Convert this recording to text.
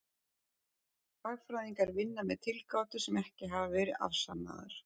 Hagfræðingar vinna með tilgátur sem ekki hafa verið afsannaðar.